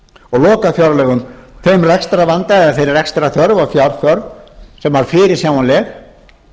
og lokafjárlögum þeim rekstrarvanda eða þeirri rekstrarþörf og fjárþörf sem fyrirsjáanleg er